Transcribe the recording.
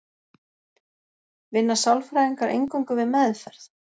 Vinna sálfræðingar eingöngu við meðferð?